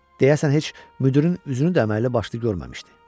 Deyəsən heç müdirin üzünü də əməlli başlı görməmişdi.